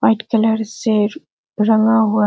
white colour से रंगा हुआ--